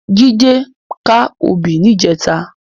Jide ká óbì nijètá